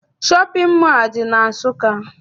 Shọpịn mọọ adị na Nsụka?